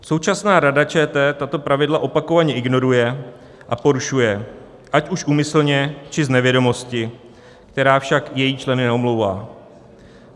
Současná Rada ČT tato pravidla opakovaně ignoruje a porušuje, ať už úmyslně, či z nevědomosti, která však její členy neomlouvá.